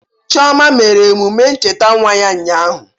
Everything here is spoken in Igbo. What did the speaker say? Chioma mere emume ncheta nwa ya ụnyahụ.